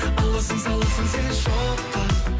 аласың саласың сен шоққа